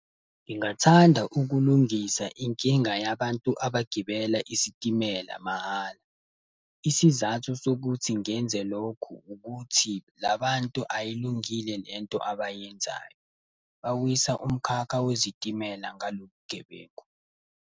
Ngingathanda ukulungisa inkinga yabantu abagibela isitimela mahhala. Isizathu sokuthi ngenze lokhu ukuthi labantu ayilungile lento abayenzayo. Bawisa umkhakha wezitimela ngalobu bugebengu.